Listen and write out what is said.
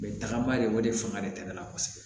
tagaba de o de fanga de tɛmɛna kosɛbɛ